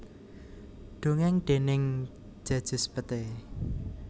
Dongèng déning Djajus Pete